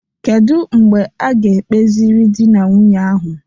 Kedu mgbe a ga ekpeziri dị na nwunye ahụ?